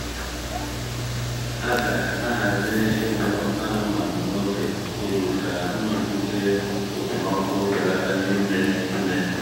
a ga-ahazi ịlụ anụmanụ n’oge oyi ka nrụgide okpomọkụ belata n’ime ime.